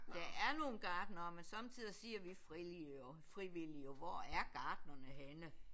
Der er nogle gartnere men sommertider siger vi frivillige jo frivillige jo hvor er gartnerne henne